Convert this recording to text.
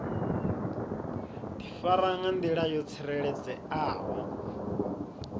difara nga ndila yo tsireledzeaho